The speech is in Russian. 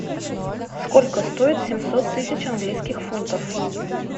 сколько стоит семьсот тысяч английских фунтов